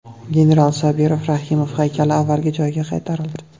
General Sobir Rahimov haykali avvalgi joyiga qaytarildi .